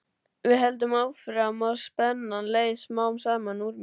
Við héldum áfram og spennan leið smám saman úr mér.